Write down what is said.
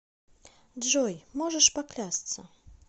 джой можешь поклясться